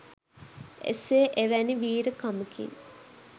එසේ එවැනි වීර කමකින්